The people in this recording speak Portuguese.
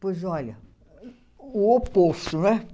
Pois olha, o oposto, não é?